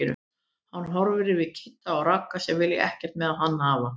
Hann horfir yfir til Kidda og Ragga sem vilja ekkert með hann hafa.